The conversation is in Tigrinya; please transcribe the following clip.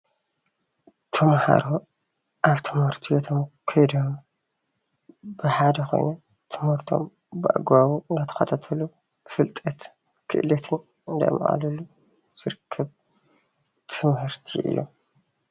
ተማሃሮ ኣብ ትምህርቲ ቤቶም ከይዶም ብሓደ ኮይኖም ትምህርቶም ብኣግባቡ እናዳተከታተሉ ፍልጠትን ክእለትን እናማዕበልሉ ዝርከብ ትምህርቲ እዩ፡፡